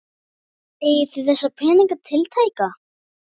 Eigið þið þessa peninga tiltæka?